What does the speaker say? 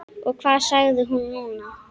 Og hvað sagði hún núna?